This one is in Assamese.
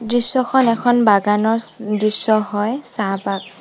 দৃশ্যখন এখন বাগানৰ দৃশ্য হয় চাহবাগ--